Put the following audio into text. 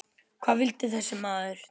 Hvað vildi þessi maður?